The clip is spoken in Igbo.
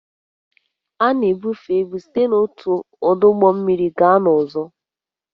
A na-ebufe ibu site n'otu ọdụ ụgbọ mmiri gaa n'ọzọ